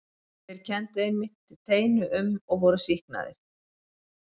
Þeir kenndu einmitt teinu um og voru sýknaðir.